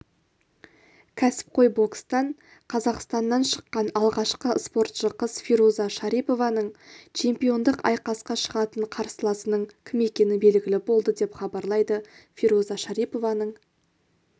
кәсіпқой бокстан қазақстаннан шыққан алғашқы спортшы қыз фируза шарипованың чемпиондық айқасқа шығатын қарсыласының кім екені белгілі болды деп хабарлайды фируза шарипованың